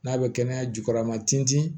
N'a bɛ kɛnɛya jukɔrɔ a ma tin ti